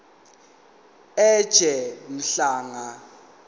ej mhlanga jj